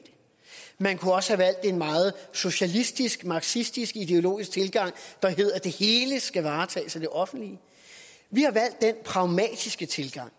man kunne også have valgt en meget socialistisk marxistisk ideologisk tilgang der hedder at det hele skal varetages af det offentlige vi har valgt den pragmatiske tilgang